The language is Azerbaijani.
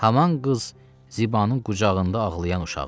Haman qız Zibanın qucağında ağlayan uşaqdır.